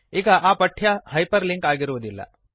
ಈಗ ಆ ಪಠ್ಯ ಹೈಪರ್ ಲಿಂಕ್ ಆಗಿರುವುದಿಲ್ಲ